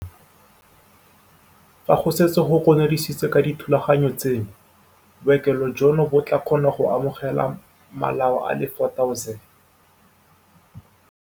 Fa go setse go konoseditswe ka dithulaganyo tseno, bookelo jono bo tla kgona go amogela malao a le 4 000.